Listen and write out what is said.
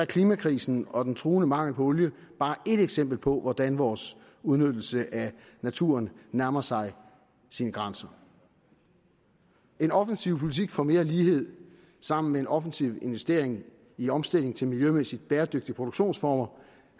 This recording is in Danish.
klimakrisen og den truende mangel på olie bare ét eksempel på hvordan vores udnyttelse af naturen nærmer sig sin grænse en offensiv politik for mere lighed sammen med en offensiv investering i omstilling til miljømæssigt bæredygtige produktionsformer